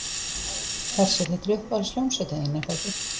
Hersir, þetta er uppáhalds hljómsveitin þín er það ekki?